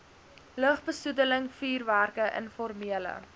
lugbesoedeling vuurwerke informele